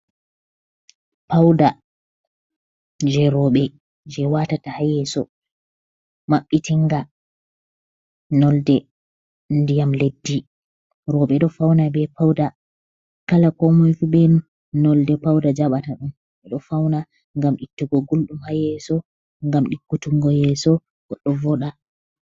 Pauɗa je robe je watata ha yeso. Mabbitinga nolɗe ndiyam leɗɗi. Robe ɗo fauna be pauɗa. Kala ko mai fu be nolɗe pauɗa jabata ɗum. Beɗo fauna ngam ittugo gulɗum hayeso ngam ɗikkutungo yeso goɗɗo voɗa.